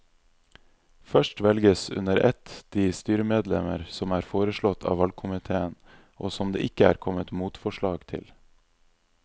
Først velges under ett de styremedlemmer som er foreslått av valgkomiteen og som det ikke er kommet motforslag til.